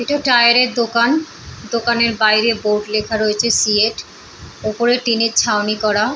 এটা টায়ারের দোকান দোকানের বাইরে বোট লেখা রয়েছে সিয়েট ওপরে টিনের ছাওনি করা।